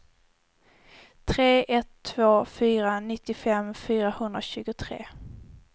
tre ett två fyra nittiofem fyrahundratjugotre